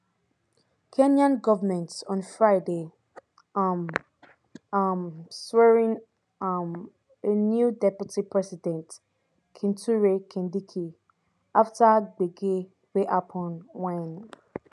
kenyan govment on friday um um swearin um a new deputy president kithure kindiki afta gbege wey happun wen